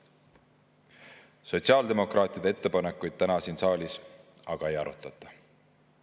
Sotsiaaldemokraatide ettepanekuid täna siin saalis aga ei arutata.